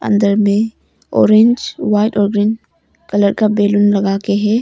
अंदर में orange white और ग्रीन कलर का बैलून लगा के है।